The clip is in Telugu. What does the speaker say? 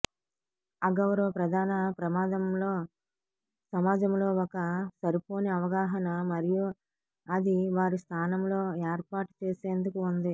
అగౌరవ ప్రధాన ప్రమాదంలో సమాజంలో ఒక సరిపోని అవగాహన మరియు అది వారి స్థానంలో ఏర్పాటు చేసేందుకు ఉంది